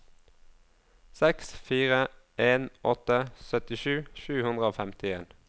seks fire en åtte syttisju sju hundre og femtien